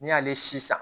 N'i y'ale si san